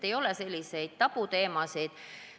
Ei ole tabuteemasid.